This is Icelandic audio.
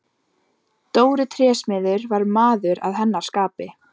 Dóri trésmiður var maður að hennar skapi.